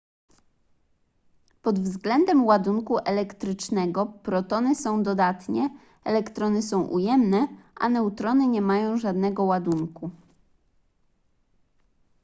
pod względem ładunku elektrycznego protony są dodatnie elektrony są ujemne a neutrony nie mają żadnego ładunku